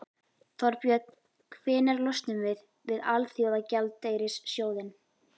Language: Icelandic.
Þorbjörn: Hvenær losnum við við Alþjóðagjaldeyrissjóðinn?